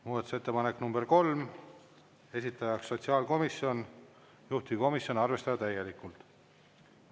Muudatusettepanek nr 3, esitajaks sotsiaalkomisjon, juhtivkomisjon: arvestada täielikult.